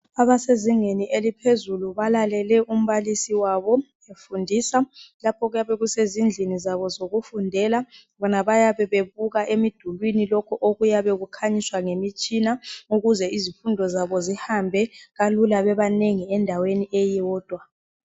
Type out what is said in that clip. Abasezingeni eliphezulu balalele umbalisi wabo efundisa. Lapho kuyabe kusezindlini zabo zokufundela bona bayabe bebuka emidulini lokho okuyabe kukhanyiswa ngemitshina ukuze izifundo zabo zihambe kalula bebanengi endaweni eyodwa